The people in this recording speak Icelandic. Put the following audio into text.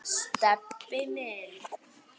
Stebbi minn.